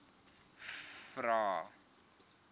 vvvvrae